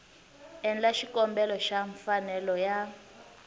endla xikombelo xa mfanelo ya